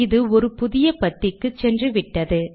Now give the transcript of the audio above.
இது ஒரு புதிய பத்திக்கு சென்று விட்டது